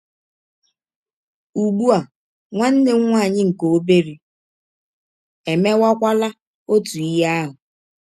Ụgbụ a, nwanne m nwaanyị nke ọbere emewakwala ọtụ ihe ahụ.